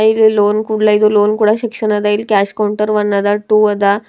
ಇಲ್ಲಿ ಲೋನ್ ಕೂಡಲೇ ಲೋನ್ ಕೊಡ ಸೆಕ್ಷನ್ ಅದಾ ಕ್ಯಾಶ್ ಕೌಂಟರ್ ಒನ್ ಅದ ಟು ಅದ.